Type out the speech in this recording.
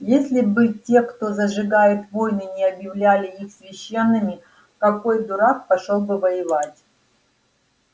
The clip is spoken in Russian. если бы те кто разжигает войны не объявляли их священными какой дурак пошёл бы воевать